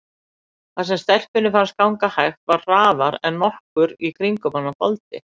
Það sem stelpunni fannst ganga hægt var hraðara en nokkur í kringum hana þoldi.